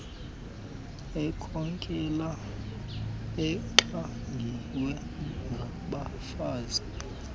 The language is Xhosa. ekhokela exhagiwe ngabafazi